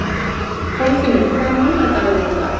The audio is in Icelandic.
Kolfinnur, hvaða mánaðardagur er í dag?